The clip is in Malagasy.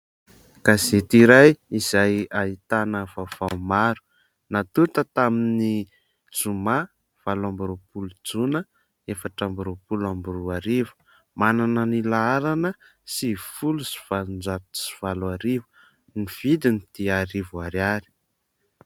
Gazety iray izay ahitana vaovao maro. Natonta tamin'ny zoma valo amby roapolo jona efatra amby roapolo amby roa arivo ; manana ny laharana sivifolo sy valonjato sy valo arivo. Ny vidiny dia arivo ariary.